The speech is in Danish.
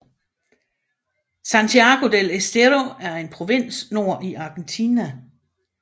Santiago del Estero er en provins nord i Argentina